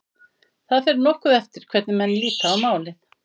Það fer nokkuð eftir hvernig menn líta á málið.